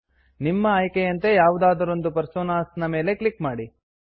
ನಿಮ್ಮ ಆಯ್ಕೆಯಂತೆ ಯಾವುದಾದರೊಂದು ಪರ್ಸೋನಾಸ್ ಮೇಲೆ ಕ್ಲಿಕ್ ಮಾಡಿ